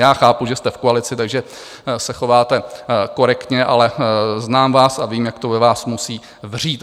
Já chápu, že jste v koalici, takže se chováte korektně, ale znám vás a vím, jak to ve vás musí vřít.